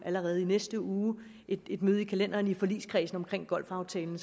allerede i næste uge et møde i kalenderen i forligskredsen omkring golfaftalen